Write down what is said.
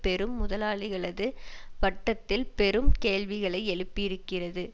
பெரும் முதலாளிகளது வட்டத்தில் பெரும் கேள்விகளை எழுப்பி இருக்கிறது